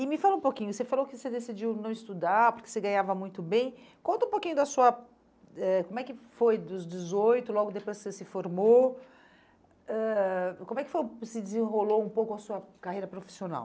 E me fala um pouquinho, você falou que você decidiu não estudar porque você ganhava muito bem, conta um pouquinho da sua eh, como é que foi dos dezoito, logo depois você se formou, ãh como é que foi se desenrolou um pouco a sua carreira profissional?